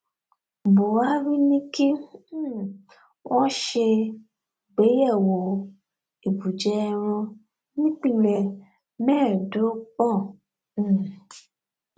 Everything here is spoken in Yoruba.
buhari ní kí um wọn ṣe àgbéyẹwò ibùjẹ ẹran nípìnlẹ mẹẹẹdọgbọn um